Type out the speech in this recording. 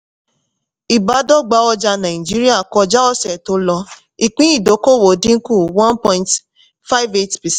ìbádọ́gba ọjà nigeria kọjá ọ̀sẹ̀ tó lọ ìpín ìdókòwò dínkù one point five eight